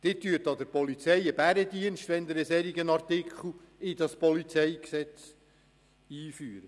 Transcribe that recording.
Sie leisten der Polizei einen Bärendienst, wenn Sie einen solchen Artikel in das PolG einfügen.